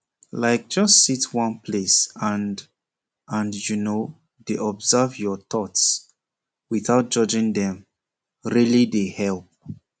like just sit one place and and you know dey observe your thoughts without judging dem really dey help